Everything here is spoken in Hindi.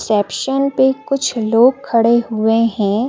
सेप्शन पे कुछ लोग खड़े हुए हैं।